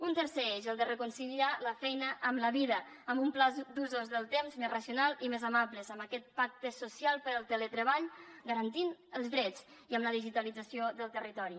un tercer eix el de reconsiderar la feina amb la vida amb un pla d’usos del temps més racional i més amable amb aquest pacte social pel teletreball garantint els drets i amb la digitalització del territori